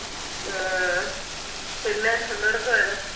അഹ് പിന്നെ എന്തെടുക്കുവാരുന്ന്